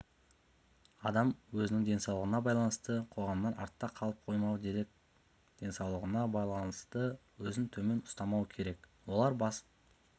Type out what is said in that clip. адам өзінің денсаулығына байланысты қоғамнан артта қалып қоймау керек денсаулығына байланысты өзін төмен ұстамау керек олар